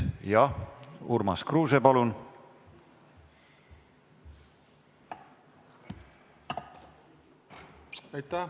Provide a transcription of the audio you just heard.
Jah, Urmas Kruuse, palun!